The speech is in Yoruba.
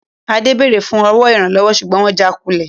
Adé béèrè fún owó Ìrànwọ́ ṣùgbọ́n wọn jà kulẹ̀